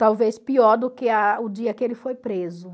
Talvez pior do que a o dia que ele foi preso.